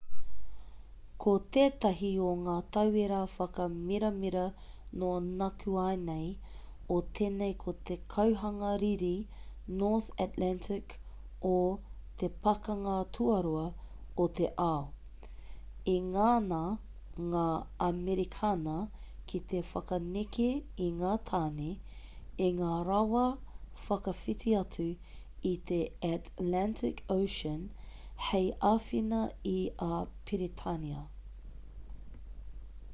ko tētahi o ngā tauira whakamiramira nō nākuanei o tēnei ko te kauhanga riri north atlantic o te pakanga tuarua o te ao i ngana ngā amerikana ki te whakaneke i ngā tāne i ngā rawa whakawhiti atu i te atlantic ocean hei āwhina i a peretānia